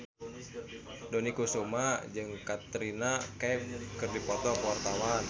Dony Kesuma jeung Katrina Kaif keur dipoto ku wartawan